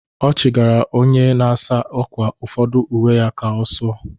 Ọ chigara onye na-asa ákwà ụfọdụ uwe ya ka ọ sụọ.